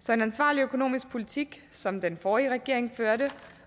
så en ansvarlig økonomisk politik som som den forrige regering førte